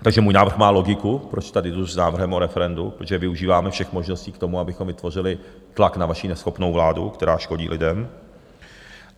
Takže můj návrh má logiku, proč tady jdu s návrhem o referendu, protože využíváme všech možností k tomu, abychom vytvořili tlak na vaši neschopnou vládu, která škodí lidem.